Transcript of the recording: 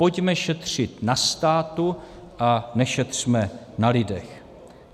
Pojďme šetřit na státu a nešetřme na lidech.